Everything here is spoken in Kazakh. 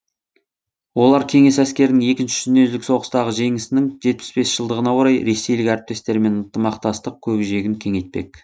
олар кеңес әскерінің екінші дүниежүзілік соғыстағы жеңісінің жетпіс бес жылдығына орай ресейлік әріптестерімен ынтымақтастық көкжиегін кеңейтпек